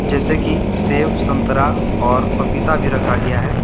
जैसे कि सेव संतरा और पपीता भी रखा गया है।